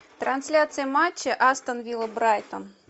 трансляция матча астон вилла брайтон